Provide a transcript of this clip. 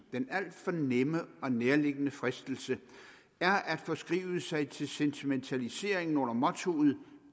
den alt for nemme og nærliggende fristelse er at forskrive sig til sentimentalisering under mottoet